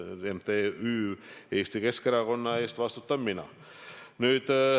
MTÜ Eesti Keskerakonna eest vastutan mina.